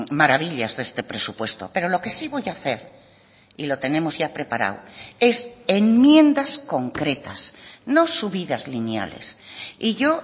maravillas de este presupuesto pero lo que sí voy a hacer y lo tenemos ya preparado es enmiendas concretas no subidas lineales y yo